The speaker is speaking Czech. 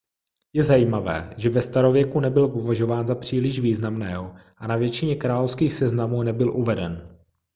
je zajímavé že ve starověku nebyl považován za příliš významného a na většině královských seznamů nebyl uveden